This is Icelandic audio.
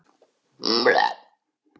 Elsku Ella amma mín.